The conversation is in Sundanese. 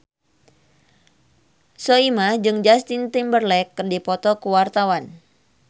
Soimah jeung Justin Timberlake keur dipoto ku wartawan